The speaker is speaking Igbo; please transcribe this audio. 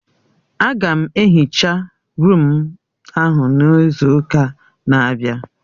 Aga m ehicha rụụm ahụ n'izu ụka na-abịa